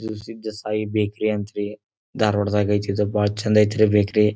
ಇದು ಸಿದ್ದ ಸಾಯಿ ಬೇಕ್ರಿ ಅಂತ್ರಿ ಧಾರಾವಾಡದಾಗ್ ಐತಿಇದು ಬಹಳ ಚೆಂದ ಐತ್ರಿ ಬೇಕ್ರಿ .